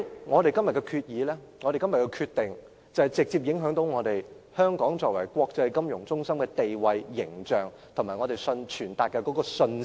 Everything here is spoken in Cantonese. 我們今天的決定將直接影響香港作為國際金融中心的地位、形象，以及我們傳達的信息。